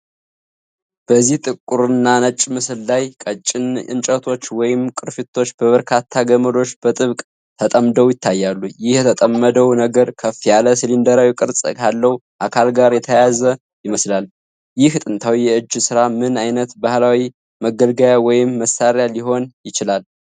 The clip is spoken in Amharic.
በዚህ ጥቁርና ነጭ ምስል ላይ፣ ቀጭን እንጨቶች ወይም ቅርፊቶች በበርካታ ገመዶች በጥብቅ ተጠምደው ይታያሉ። ይህ የተጠመደው ነገር ከፍ ያለ ሲሊንደራዊ ቅርጽ ካለው አካል ጋር የተያያዘ ይመስላል። ይህ ጥንታዊ የእጅ ሥራ ምን ዓይነት ባህላዊ መገልገያ ወይም መሣሪያ ሊሆን ይችላል?